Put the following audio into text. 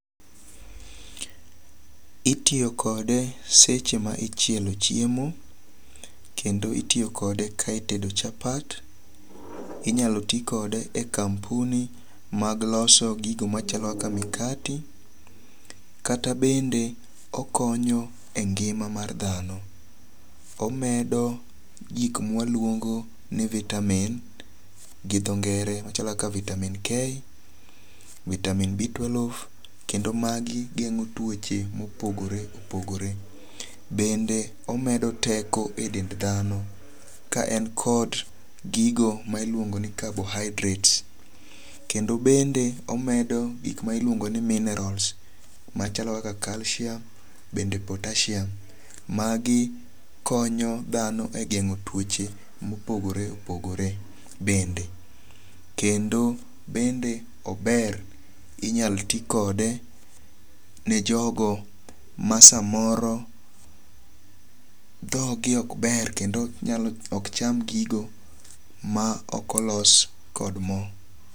Itiyokode seche ma ichielo chiemo, kendo itiyokode ka itedo chapat, inyalo ti kode e kampuni mag loso gigo machalo kaka mikati kata bende okonyo e ngi'ma mar thano, omedo gik ma waluongo in vitamin gi tho ngere machalo kaka vitamin k, vitamin B12 kendo magi gengo' tuoche mopogore opogore, bende omedo teko e dend thano ka en kod gigo ma iluongo ni carbohydrate, kendo bende omedo gik ma iluongo' ni minerals machalo kaka calcium bende potassium magi kony thano e gengo' tuoche mopogore opogore bende, kendo bende ober inyal ti kode ne jogo ma samoro thogi ok ber kendo okcham gigo ma okolos kod mo .